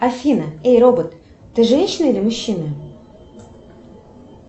афина эй робот ты женщина или мужчина